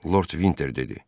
Lord Vinter dedi.